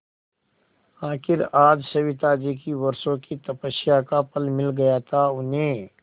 आखिर आज सविताजी की वर्षों की तपस्या का फल मिल गया था उन्हें